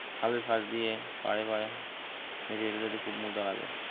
খালের পাশদিয়ে পারে পারে হেটে যেতে খুব মজা লাগে